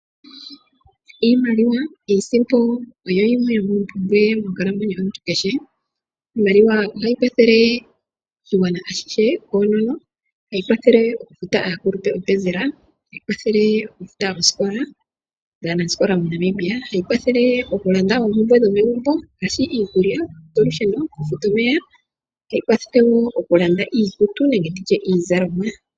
Iimaliwa Iisimpo oyo yimwe yomoompumbwe monkalamwenyo yomuntu kehe. Iimaliwa ohayi kwathele oshigwana ashihe koonono. Ohayi kwathele okupa aakulupe openzela, ohayi kwathele okufuta osikola dhaanasikola moNamibia, ohayi kwathele okulanda oompumbwe dhaantu dhomegumbo ngaashi iikulya, olusheno nokufuta omeya. Ohayi kwathele wo okulanda iikutu nenge iizalomwa.